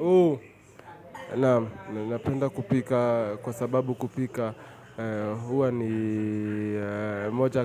Uuu, naam, napenda kupika kwa sababu kupika huwa ni moja